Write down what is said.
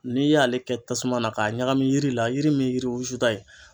N'i y'ale kɛ tasuma na k'a ɲagami yiri la yiri min yiriw wulusuta ye.